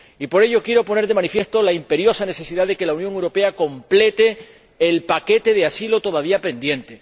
Y por ello quiero poner de manifiesto la imperiosa necesidad de que la Unión Europea complete el paquete de asilo todavía pendiente